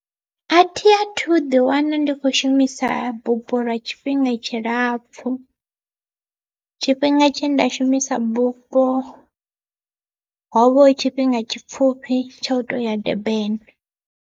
Athi athu ḓi wana ndi kho shumisa bupo lwa tshifhinga tshi lapfhu, tshifhinga tshe nda shumisa bupo hovha tshifhinga tshipfhufhi tsha u tou ya Durban.